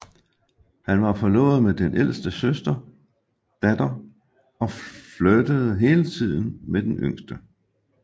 Han var forlovet med den ældste datter og flirtede hele tiden med den yngste